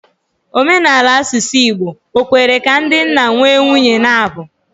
Omenala asusu Igbo, ọ̀ kwere ka ndị nna nwee nwunye n'abuo?